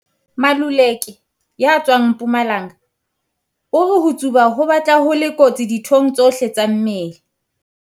Maluleke ya tswang Mpumalanga o re ho tsuba ho batla ho le kotsi dithong tsohle tsa mmele.